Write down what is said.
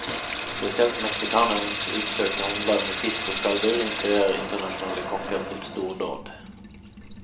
Spesielt meksikanernes utsøkte håndlag med fisk og skalldyr inspirerer internasjonale kokker til stordåd.